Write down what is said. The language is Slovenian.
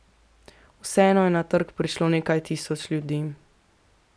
Vseeno je na trg prišlo nekaj tisoč ljudi.